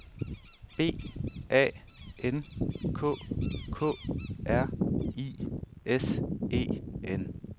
B A N K K R I S E N